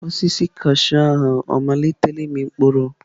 Osisi kashụụ ahụ ọ malitela ịmị mkpụrụ?